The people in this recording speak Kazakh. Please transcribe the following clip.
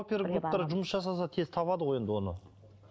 опергруптар жұмыс жасаса тез табады ғой оны